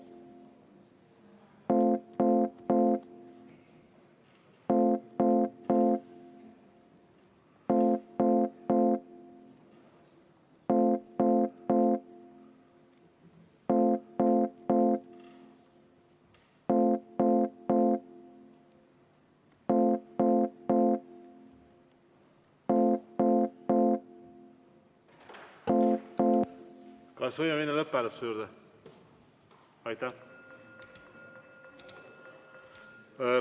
Kas võime minna lõpphääletuse juurde?